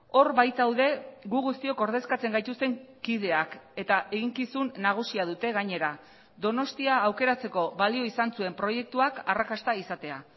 hor baitaude gu guztiok ordezkatzen gaituzten kideak eta eginkizun nagusia dute gainera donostia aukeratzeko balio izan zuen proiektuak arrakasta izatea